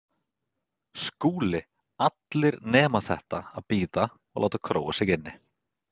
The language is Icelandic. SKÚLI: Allt nema þetta: að bíða og láta króa sig inni.